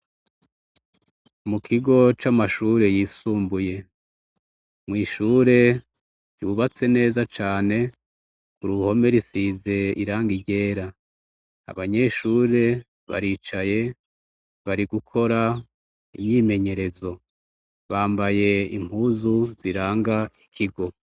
Mu kigo c'amashuri yisumbuye mw'ishure ryubatse neza cane, ku ruhome risize irangi ryera, abanyeshure baricaye bari gukora imyimenyerezo bambaye impuzu ziranga ikigo.